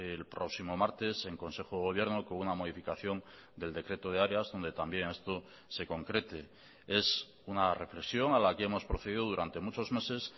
el próximo martes en consejo de gobierno con una modificación del decreto de áreas donde también esto se concrete es una reflexión a la que hemos procedido durante muchos meses